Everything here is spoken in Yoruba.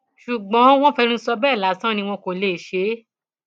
ṣùgbọn wọn fẹnu sọ bẹẹ lásán ni wọn kò lè ṣe é